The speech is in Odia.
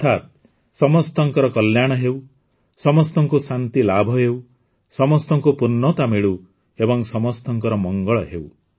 ଅର୍ଥାତ ସମସ୍ତଙ୍କ କଲ୍ୟାଣ ହେଉ ସମସ୍ତଙ୍କୁ ଶାନ୍ତି ଲାଭ ହେଉ ସମସ୍ତଙ୍କୁ ପୂର୍ଣ୍ଣତା ମିଳୁ ଏବଂ ସମସ୍ତଙ୍କର ମଙ୍ଗଳ ହେଉ